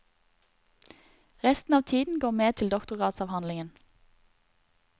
Resten av tiden går med til doktorgradsavhandlingen.